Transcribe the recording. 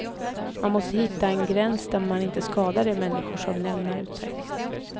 Man måste hitta en gräns där man inte skadar de människor som lämnar ut sig.